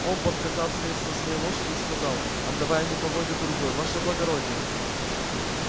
он подскакав слез с своей лошади и сказал отдавая мне поводья другой ваше благородие